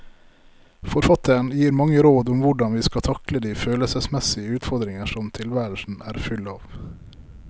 Forfatteren gir mange råd om hvordan vi skal takle de følelsesmessige utfordringer som tilværelsen er full av.